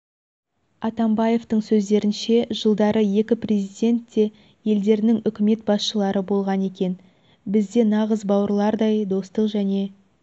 атамбаевтың сөздерінше жылдары екі президент те елдерінің үкімет басшылары болған екен бізде нағыз бауырлардай достық және